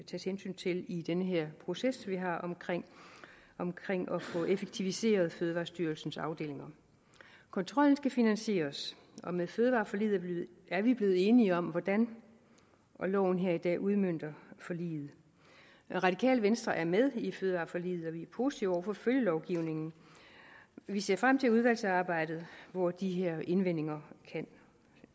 tages hensyn til i den her proces vi har omkring omkring at få effektiviseret fødevarestyrelsens afdelinger kontrollen skal finansieres og med fødevareforliget er vi blevet enige om hvordan og loven her i dag udmønter forliget radikale venstre er med i fødevareforliget og vi er positive over for følgelovgivningen vi ser frem til udvalgsarbejdet hvor de her indvendinger kan